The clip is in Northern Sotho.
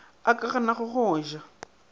a ka ganago go ja